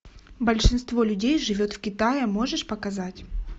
большинство людей живет в китае можешь показать